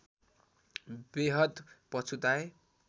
बेहद पछुताए